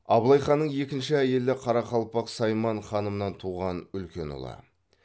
абылай ханның екінші әйелі қарақалпақ сайман ханымнан туған үлкен ұлы